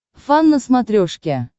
фан на смотрешке